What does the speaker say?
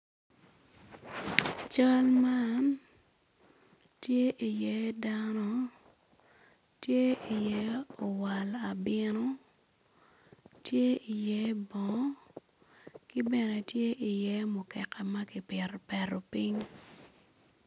Cal man tye iye dano tye iye owal abino tye iye bongo ki bene tye i ye mukekea ma kipetopiny